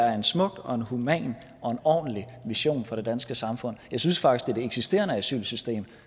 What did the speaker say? er en smuk og en human og en ordentlig mission for det danske samfund jeg synes faktisk at eksisterende asylsystem